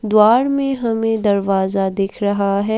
द्वार में हमें दरवाजा दिख रहा है।